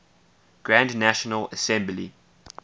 grand national assembly